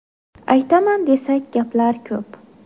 Aytaman desak, gaplar ko‘p.